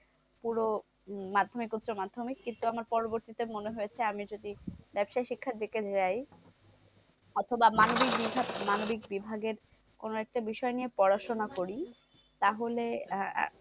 পুরো মাধ্যমিক উচ্চমাধ্যমিক। কিন্তু আমার পরবর্তীতে মনে হয়েছে, আমি যদি ব্যবসায়ী শিক্ষার দিকে যাই অথবা মানবিক বিভাগ মানবিক বিভাগের কোনো একটা বিষয় নিয়ে পড়াশোনা করি? তাহলে আহ